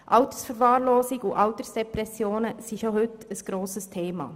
Altersverwahrlosung und Altersdepressionen sind bereits heute ein grosses Thema.